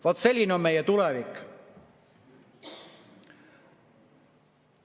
Vaat selline on meie tulevik.